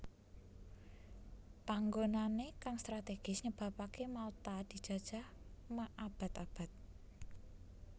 Panggonané kang strategis nyebabaké Malta dijajah ma abad abad